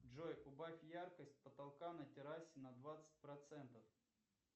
джой убавь яркость потолка на террасе на двадцать процентов